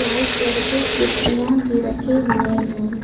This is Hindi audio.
लाल कलर की कुर्सियां भी रखे हुए हैं।